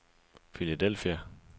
Philadelphia